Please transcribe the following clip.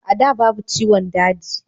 a da babu ciwon daji